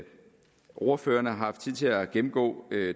ordførerne har haft tid til at gennemgå